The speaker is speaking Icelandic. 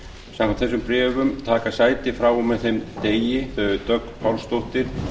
samkvæmt þessum bréfum taka sæti frá og með þeim degi þau dögg pálsdóttir